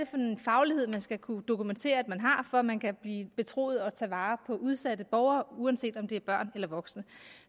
for en faglighed man skal kunne dokumentere at man har for at man kan blive betroet at tage vare på udsatte borgere uanset om det er børn eller voksne